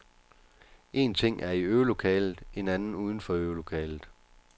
Én ting er i øvelokalet, en anden uden for øvelokalet.